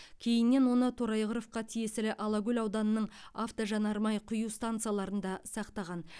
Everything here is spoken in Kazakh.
кейіннен оны торайғыровқа тиесілі алакөл ауданының автожанармай құю станцияларында сақтаған